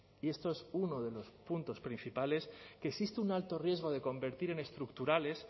y esto es uno de los puntos principales que existe un alto riesgo de convertir en estructurales